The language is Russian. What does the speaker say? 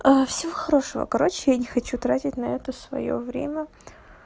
а всего хорошего короче я не хочу тратить на это своёе время